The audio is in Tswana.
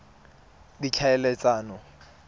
ditlhaeletsano